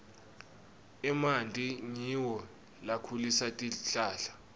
emanti ngiwo lakhulisa tihlahla